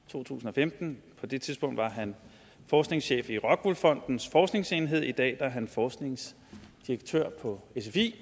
to tusind og femten på det tidspunkt var han forskningschef i rockwool fondens forskningsenhed i dag er han forskningsdirektør i sfi